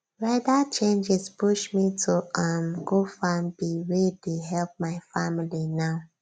weather changes push me to um go farm bee wey dey help my family now